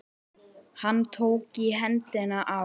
Hann tók í hendina á